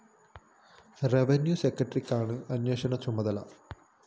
revenue സെക്രട്ടറിക്കാണ് അന്വേഷണ ചുമതല